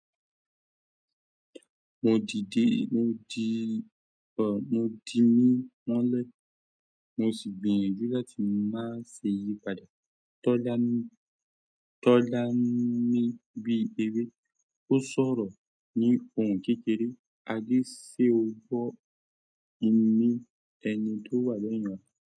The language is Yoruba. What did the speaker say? Mo dìde, mo di, mo dinu mọ́lẹ̀, mo sì gbìyànjú láti máa ṣe ìyípadà. Tọ́lá ni bí ewé, ó sọ̀rọ̀ ní ohùn kékeré: "Adé, ṣe o gbọ́ imí ẹni tó wà lẹ́yìn rẹ?"